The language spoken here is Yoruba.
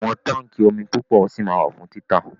Àwọn táńkì omi púpọ̀ ṣì ma wà fún títà.